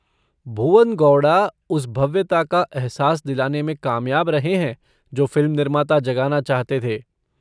भुवन गौड़ा उस भव्यता का अहसास दिलाने में कामयाब रहे हैं जो फ़िल्म निर्माता जगाना चाहते थे।